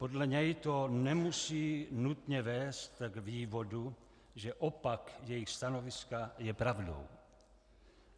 Podle něj to nemusí nutně vést k vývodu, že opak jejich stanoviska je pravdou.